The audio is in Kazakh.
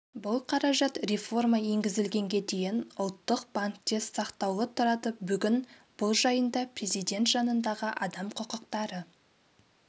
бұл қаражат реформа енгізілгенге дейін ұлттық банкте сақтаулы тұрады бүгін бұл жайында президент жанындағы адам құқықтары